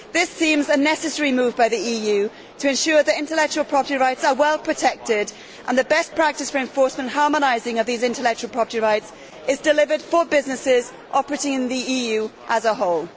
This seems a necessary move by the EU to ensure that intellectual property rights are well protected and that best practice for the enforcement and harmonising of these intellectual property rights is delivered for businesses operating in the EU as a whole.